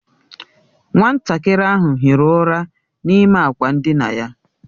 Nwatakịrị ahụ hiri ụra n'ime akwa ndina ya.